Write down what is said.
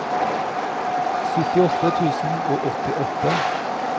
syttiåtte tusen og åttiåtte